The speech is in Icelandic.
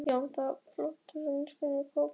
Já, það væri flott, samsinnti Kobbi.